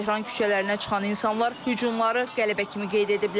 Tehran küçələrinə çıxan insanlar hücumları qələbə kimi qeyd ediblər.